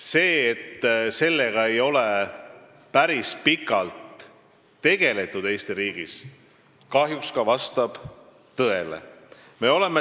See, et Eesti riigis ei ole sellega juba päris pikalt tegeldud, vastab kahjuks tõele.